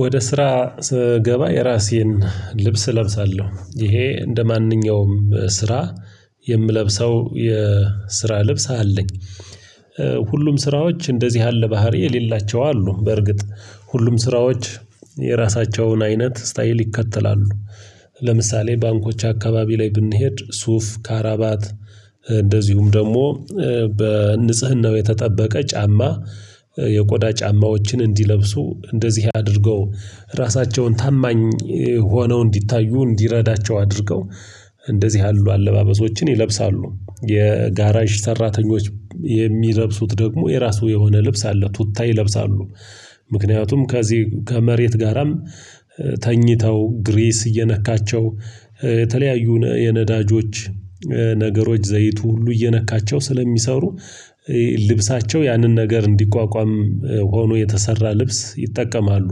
ወደ ስራ ስገባ የራሴን ልብስ እለብሳለሁ ይሄ እንደማንኛውም የምለብሰው የስራ ልብስ አለኝ። ሁሉም ስራዎች እንደዚህ ያለ ባህሪ የሌላቸው አሉ። በርግጥ ሁሉም ስራዎች የራሳቸውን አይነት ስታይል ይከተላሉ። ለምሳሌ ባንኮች አካባቢ ላይ ብንሄድ ሱፍ ካራባት እንደዚሁም ደግሞ በንጽህናው የተጠበቀ ጫማ። የቆዳ ጫማዎችን እንዲለብሱ እንደዚህ አድርገው ራሳቸውን ታማኝ ሆነው እንዲታዩ እንዲረዳቸው አድርገው እንደዚህ ያሉ አለባበሶችን ይለብሳሉ። የጋራይዥ ሰራተኞች የሚለብሱት ደግሞ የራሱ የሆነ ልብስ አለ ቱታ ይለብሳሉ። ምክንያቱም ከዚህ ከመሬት ጋራም ተኝተው ግሬስ እየነካቸው የተለያዩ የነዳጆች ነገሮች ዘይቱ ሁሉ እየነካቸው ስለሚሰሩ ልብሳቸው ያንን ነገር እንዲቋቋም ሆኖ የተሰራ ልብስ ይጠቀማሉ።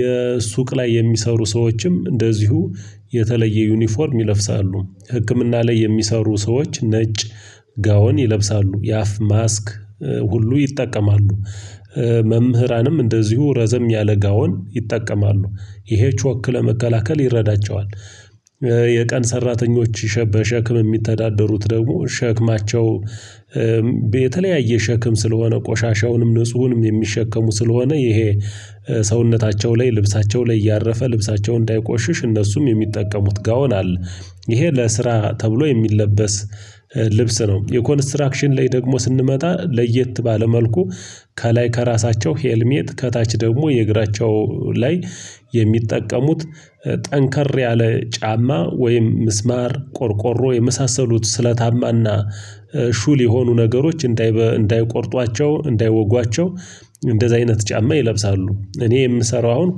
የሱቅ ላይ የሚሰሩ ሰዎችም እንደዚሁ የተለየ ዩኒፎርም ይለፍሳሉ። ህክምና ላይ የሚሰሩ ሰዎች ነጭ ጋውን ይለብሳሉ የአፍ ማስክ ሁሉ ይጠቀማሉ። መምህራንም እንደዚሁ ረዘም ያለ ጋውን ይጠቀማሉ ይሄችወክ ለመከላከል ይረዳቸዋል። የቀን ሰራተኞች በሸክም ሚተዳደሩት ደግሞ ሸክማቸው የተለያየ ሸክም ስለሆነ ቆሻሻውንም ንጹሁንም የሚሸከሙ ስለሆነ ይሄ ሰውነታቸው ላይ ልብሳቸው ላይ እያረፈ ልብሳቸው እንዳይቆሽሽ እነሱም የሚጠቀሙት ጋውናል። ይሄ ለስራ ተብሎ የሚለበስ ልብስ ነው። የኮንስትራክሽን ላይ ደግሞ ስንመጣ ለየት ባለ መልኩ ከላይ ከራሳቸው ሄልሜት ከታች ደግሞ የእግራቸው ላይ የሚጠቀሙት ጠንከር ያለ ጫማ ወይም ምስማር ቆርቆሮ የመሳሰሉት ስለታማና ሹል የሆኑ ነገሮች እንዳይቆርጧቸው እንዳይወጓቸው እንደዚህ አይነት ጫማ ይለብሳሉ። እኔ የምሰራው አሁን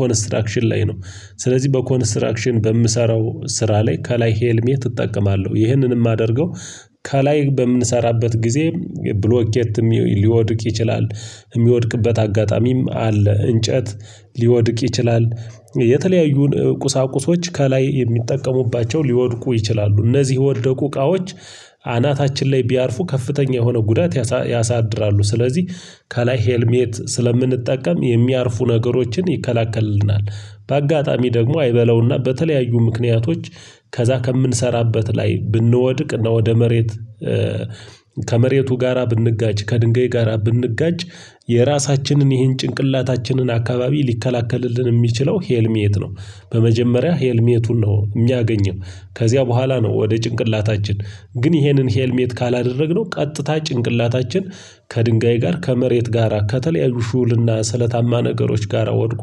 ኮንስትራክሽን ላይ ነው። ስለዚህ በኮንስትራክሽን በምሰራው ስራ ላይ ከላይ ሄልሜት እጠቀማለሁ ይህንን ማደርገው ከላይ በምንሰራበት ጊዜ ብሎኬት ሊወድቅ ይችላል ሚወድቅበት አጋጣሚም አለ እንጨት ሊወድቅ ይችላል የተለያዩን ቁሳቁሶች ከላይ የሚጠቀሙባቸው ሊወድቁ ይችላሉ እነዚህ ወደቁ እቃዎች አናታችን ላይ ቢያርፉ ከፍተኛ የሆነ ጉዳት ያሳድራሉ ስለዚህ ከላይ ሄልሜት ስለምንጠቀም የሚያርፉ ነገሮችን ይከላከልናል። በአጋጣሚ ደግሞ አይበለውና በተለያዩ ምክንያቶች ከዛ ከምንሰራበት ላይ ብንወድቅ እና ወደ መሬት ከመሬቱ ጋራ ብንጋጭ ከድንገይ ጋራ ብንጋጭ የራሳችንን ይሄን ጭንቅላታችንን አካባቢ ሊከላከልልን ሚችለው ሄልሚየት ነው። በመጀመሪያ ሄልሜቱን ነው የሚያገኘው ከዚያ በኋላ ነው ወደ ጭንቅላታችን ግን ይሄንን ሄልሜት ካላደረግነው ቀጥታ ጭንቅላታችን ከድንጋይ ጋር ከመሬት ጋራ ከተለያዩ ሹልና ስለታማ ነገሮች ጋራ ወድቆ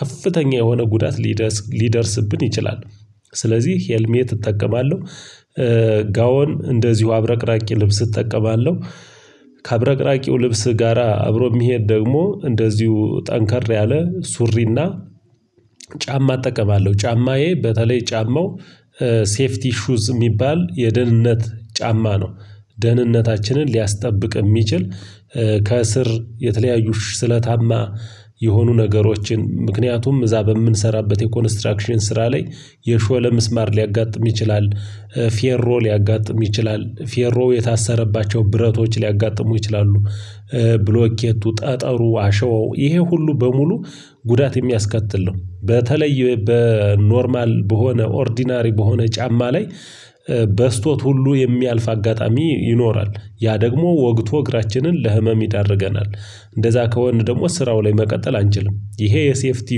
ከፍተኛ የሆነ ጉዳት ሊደርስ ሊደርስብን ይችላል። ስለዚህ ሄልሜት እጠቀማለህ። ጋውን እንደዚሁ አብረቅራቂ ልብስ እጠቀማለሁ። ከአብረቅራቂው ልብስ ጋራ አብሮ ሚሄድ ደግሞ እንደዚሁ ጠንከር ያለ ሱሪና ጫማ እጠቀማለሁ ጫማዬ በተለይ ጫማው ሴፍቲ ሹዝ ሚባል የደህንነት ጫማ ነው። ደህንነታችንን ሊያስጠብቅ ሚችል ከእስር የተለያዩሽ ስለታማ የሆኑ ነገሮችን ምክንያቱም እዛ በምንሰራበት የኮንስትራክሽን ስራ ላይ የሾለ ምስማር ሊያጋጥም ይችላል። ፌሮ ሊያጋጥም ይችላል ፌሮ የታሰረባቸው ብረቶች ሊያጋጥሙ ይችላሉ። ብሎኬቱ ጠጠሩ አሸው ይሄ ሁሉ በሙሉ ጉዳት የሚያስከትል ነው። በተለይ በኖርማል በሆነ ኦርዲናሪ በሆነ ጫማ ላይ በስቶት ሁሉ የሚያልፍ አጋጣሚ ይኖራል ያ ደግሞ ወግቶ እግራችንን ለህመም ይዳርገናል። እንደዛ ከሆን ደግሞ ስራው ላይ መቀጠል አንችልም። ይሄ የሴፍቲ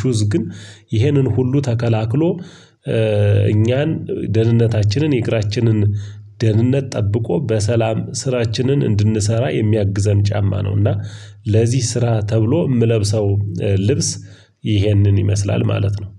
ሹዝ ግን ይሄንን ሁሉ ተከላክሎ እኛን ደህንነታችንን የእግራችንን ደህንነት ጠብቆ በሰላም ስራችንን እንድንሰራ የሚያግዘን ጫማ ነውና። እና ለዚህ ስራ ተብሎ ምለብሰው ልብስ ይህንን ይመስላል ማለት ነው